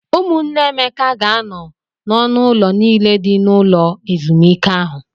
Ụmụnne Emeka ga-anọ n'ọnụ ụlọ niile dị n'ụlọ ezumike ahụ.